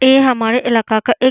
ये हमारे इलाका का एक --